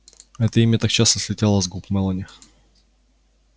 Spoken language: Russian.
а это имя так часто слетало с губ мелани